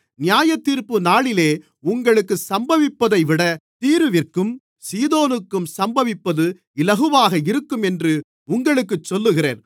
நியாயத்தீர்ப்புநாளிலே உங்களுக்குச் சம்பவிப்பதைவிட தீருவிற்கும் சீதோனுக்கும் சம்பவிப்பது இலகுவாக இருக்கும் என்று உங்களுக்குச் சொல்லுகிறேன்